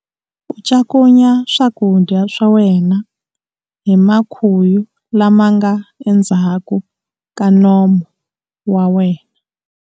U cakunya swakudya swa wena hi makhuyu lama nga endzhaku ka nomu wa wena.